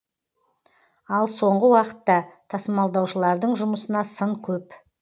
ал соңғы уақытта тасымалдаушылардың жұмысына сын көп